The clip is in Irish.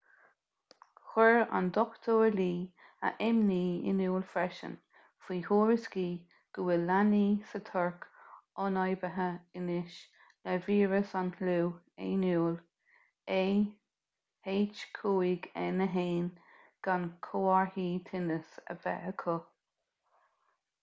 chuir dr. lee a imní in iúl freisin faoi thuairiscí go bhfuil leanaí sa tuirc ionfhabhtaithe anois le víreas an fhliú éanúil ah5n1 gan comharthaí tinnis a bheith acu